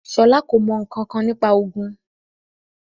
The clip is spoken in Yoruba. Ṣọlá kò mọ̀ ǹkankan nípa òògùn